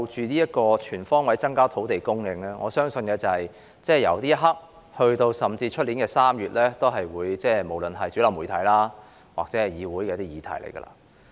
關於"全方位增加土地供應"，我相信由此刻直至明年3月，也會是主流媒體及議會的議題。